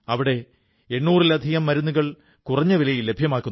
അതിൽ വളരെ ആകർഷകമായ ഒരു ബിന്ദുവാണ് ഇന്നത്തെ വാക്യം